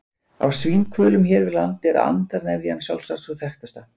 Af svínhvölum hér við land er andarnefjan sjálfsagt sú þekktasta.